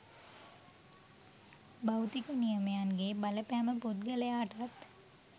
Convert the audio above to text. භෞතික නියමයන්ගේ බලපෑම පුද්ගලයාටත්